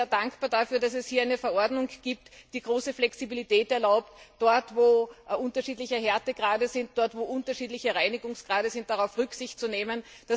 Ich bin sehr dankbar dafür, dass es hier eine Verordnung gibt, die große Flexibilität erlaubt, dort, wo unterschiedliche Härtegrade sind, dort, wo unterschiedliche Reinigungsgrade sind, darauf Rücksicht zu nehmen.